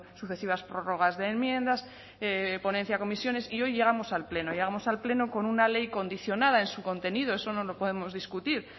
sucesivas prórrogas de enmiendas ponencia comisiones y hoy llegamos al pleno llegamos al pleno con una ley condicionada en su contenido eso no lo podemos discutir